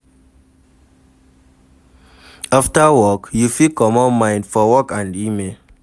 After work, you fit comot mind for work phone and email